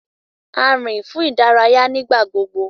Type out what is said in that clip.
A rin fún ìdárayá nigbagbogbo.